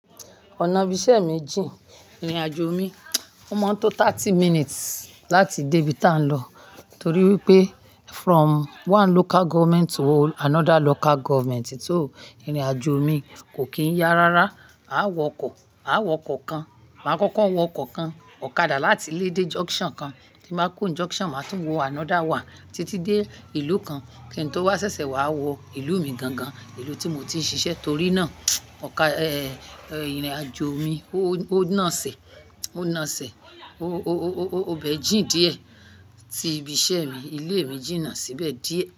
Ọ̀nà ibi iṣẹ́ mi jí ìrìnàjò mi. Ó máa ń tó thirty minutes láti dé ibi tá ń lọ torí wípé from one local government to another local government, so ìrìn àjò mi kò kí ń yá rárá. A wọ ọkọ̀, a wọ ọkọ̀ kan, máa kọ́kọ́ wọ ọkọ̀ kan ọ̀kadà láti ilé dé junction kan, tí máa kó junction, màá tún wọ another wán títí dé ìlú kan kí n tó wá ṣẹṣẹ wá wọ ìlú mi gan gan, ìlú tí mo ti ń ṣiṣẹ́. Torí náà, ọ̀kadà, eh, ìrìnàjò mi ó naṣẹ́, ó naṣẹ́, ó bẹ́ẹ̀ jìn díẹ̀ sí ibi iṣẹ́ mi. Ilé mi jìnà síbẹ̀ díẹ̀